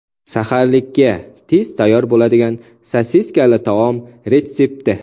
Saharlikka tez tayyor bo‘ladigan sosiskali taom retsepti.